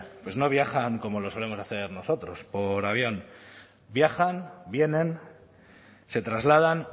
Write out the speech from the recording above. pues no viajan como lo solemos hacer nosotros por avión viajan vienen se trasladan